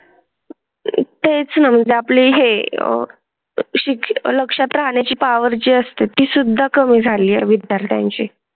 तेचं जपली हे शिक्षण लक्षात राहण्या ची पॉवर पॉवर जी असते. तीसुद्धा कमी झाली आहे विद्यार्थ्यांची.